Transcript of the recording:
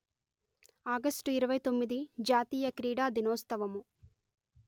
ఆగష్టు ఇరవై తొమ్మిది జాతీయ క్రీడా దినోత్సవము